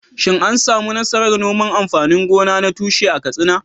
Shin an samu nasarar noman amfanin gona na tushe a Katsina?